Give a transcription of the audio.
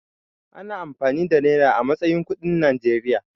Ana amfani da nera a matsayin kuɗin Najeriya.